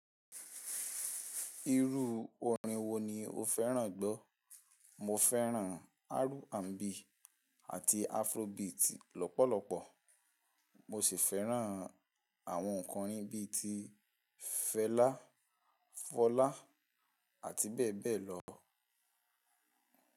Irú orin wo ni o fẹ́ràn gbọ́? Mo fẹ́ràn R&B àti Afrobeat lọ́pọ̀lọpọ̀. Mo sì fẹ́ràn àwọn ǹkan bí i ti Fẹlá, Fọlá, àti bẹ́ẹ̀ bẹ́ẹ̀ lọ.